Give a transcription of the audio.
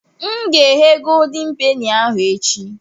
M ga-eghe goldin peni ahụ echi.